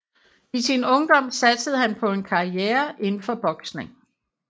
I sin ungdom satsede han på en karriere inden for boksning